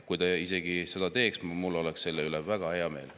Kui ta seda teeks, siis oleks mul selle üle väga hea meel.